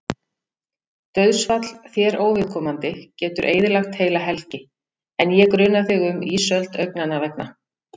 Dauðsfall þér óviðkomandi getur eyðilagt heila helgi, en ég gruna þig um ísöld augnanna vegna.